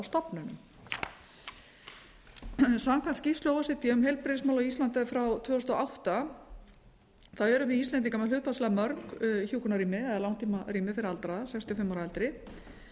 stofnunum samkvæmt skýrslu o e c d um heilbrigðismál á íslandi frá tvö þúsund og átta erum við íslendingar með hlutfallslega mörg hjúkrunarrými eða langtímarými fyrir aldraða sextíu og fimm ára og eldri